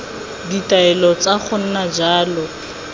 ditaelo tsa go nna jalo